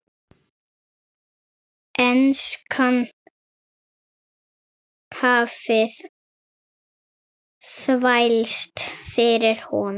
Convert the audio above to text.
Enskan hafði þvælst fyrir honum.